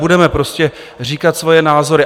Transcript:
Budeme prostě říkat svoje názory.